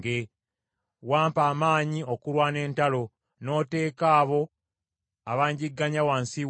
Wampa amaanyi okulwana entalo, n’oteeka abo abanjigganya wansi wange.